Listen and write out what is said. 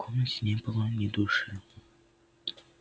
в комнате не было ни души